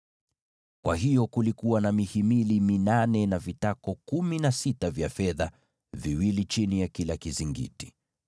Kwa hiyo kulikuwa na mihimili minane, na vitako kumi na sita vya fedha, viwili chini ya kila mhimili.